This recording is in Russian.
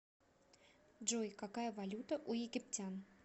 джой какая валюта у египтян